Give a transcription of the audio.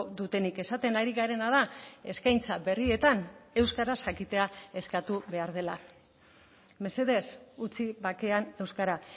dutenik esaten ari garena da eskaintza berrietan euskaraz jakitea eskatu behar dela mesedez utzi bakean euskara